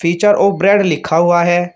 Picture और bread लिखा हुआ है।